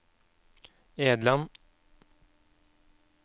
Edland